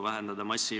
Läheme edasi.